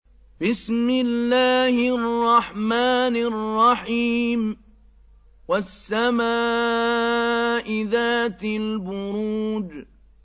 وَالسَّمَاءِ ذَاتِ الْبُرُوجِ